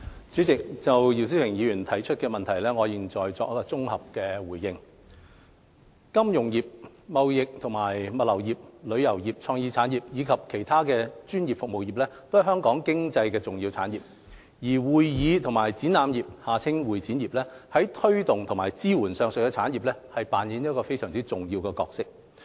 主席，就姚思榮議員提出的質詢，我現綜合答覆如下：金融服務業、貿易及物流業、旅遊業、創意產業，以及其他專業服務業，都是香港經濟的重要產業，而會議及展覽業在推動和支援上述產業上扮演重要的角色。